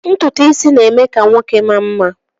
Ntutu isi na-eme ka nwoke maa mma